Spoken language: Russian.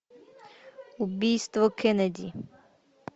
убийство кеннеди